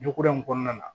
Ɲ kura in kɔnɔna na